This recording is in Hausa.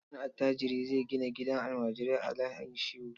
Wani attajiri zai gina gidan almajirai a Hayin Shehu.